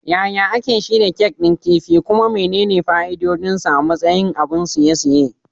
Yaya ake shirya kek din kifi, kuma menene fa'idodinsa a matsayin abun ciye-ciye?